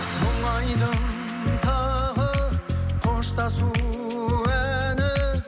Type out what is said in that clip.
мұңайдым тағы қоштасу әні